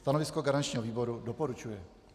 Stanovisko garančního výboru: doporučuje.